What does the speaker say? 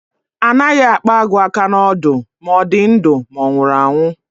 A naghị akpa agụ aka n'ọdụ, ma ọ dị ndụ ma ọ nwụrụ anwu